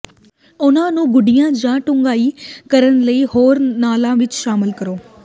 ਉਨ੍ਹਾਂ ਨੂੰ ਗੂਡ਼ਿਆਂ ਜਾਂ ਡੂੰਘਾਈ ਕਰਨ ਲਈ ਹੋਰ ਲਾਲਾਂ ਵਿੱਚ ਸ਼ਾਮਲ ਕਰੋ